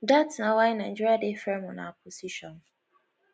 dat na why nigeria dey firm on our position